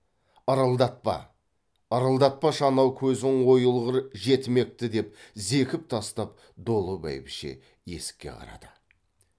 ырылдатпа ырылдатпашы анау көзің ойылғыр жетімекті деп зекіп тастап долы бәйбіше есікке қарады